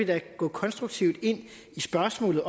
da gå konstruktivt ind i spørgsmålet